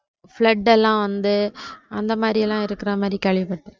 flood எல்லாம் வந்து அந்த மாதிரியெல்லாம் இருக்குற மாதிரி கேள்விபட்டேன்.